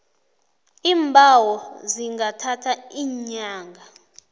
iimbawo zingathatha iinyanga